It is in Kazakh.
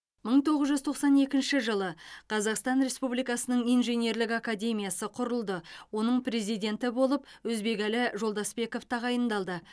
мың тоғыз жүз тоқсан екінші жылы қазақстан республикасының инженерлік академиясы құрылды оның президенті болып өзбекәлі жолдасбеков тағайындалды